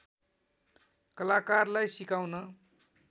कलाकारलाई सिकाउन